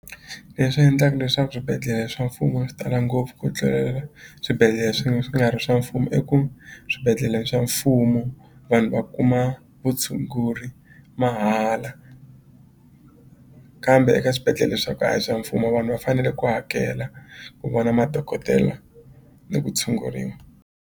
Leswi endlaka leswaku swibedhlele swa mfumo swi tala ngopfu ku tlulela swibedhlele swi swi nga ri swa mfumo i ku swibedhlele swa mfumo vanhu va kuma vutshunguri mahala kambe eka swibedhlele swa ku a hi swa mfumo vanhu va fanele ku hakela ku vona madokodela ni ku tshunguriwa.